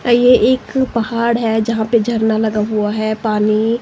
ये एक पहाड़ है जहां पे झरना लगा हुआ है पानी--